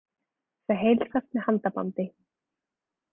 Þau heilsast með handabandi.